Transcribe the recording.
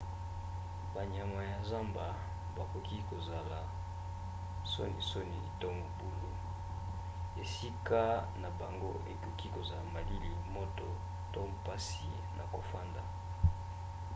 banyama ya zamba bakoki kozala sonisoni to mobulu. esika na bango ekoki kozala malili moto to mpasi na kofanda